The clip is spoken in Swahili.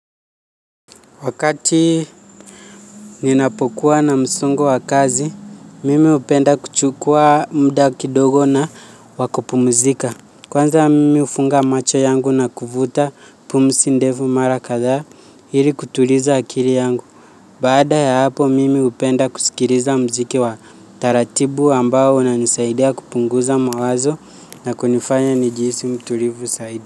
Wakati ninapokuwa na msongo wa kazi, mimi hupenda kuchukua muda kidogo na wakupumzika. Kwanza mimi hufunga macho yangu na kuvuta pumzi ndefu mara kadhaa ili kutuliza akili yangu. Baada ya hapo mimi hupenda kusikiliza muziki wa taratibu ambao unanisaidia kupunguza mawazo na kunifanya nijihisi mtulivu zaidi.